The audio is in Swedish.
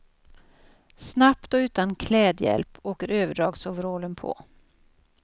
Snabbt och utan klädhjälp åker överdragsoverallen på.